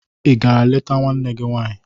Ị gara leta nwanne gị nwaanyị?